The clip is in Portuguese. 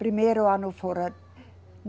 Primeiro ano fora.